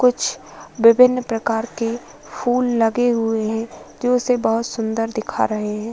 कुछ विभिन्न प्रकार के फूल लगे हुए है जो उसे बहोत सुंदर दिखा रहे हैं।